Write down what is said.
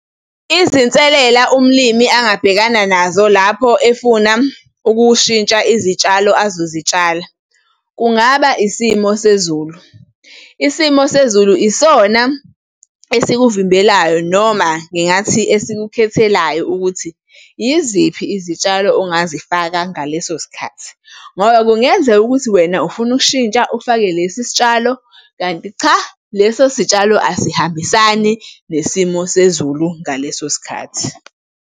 Izinselela umlimi angabhekana nazo lapho efuna ukushintsha izitshalo azozitshala, kungaba isimo sezulu. Isimo sezulu isona esikuvimbelayo noma ngingathi esikukhethelayo ukuthi yiziphi izitshalo ongazifaka ngaleso sikhathi. Ngoba kungenzeka ukuthi wena ufuna ukushintsha ufake lesi sitshalo, kanti cha, leso sitshalo asihambisani nesimo sezulu ngaleso sikhathi.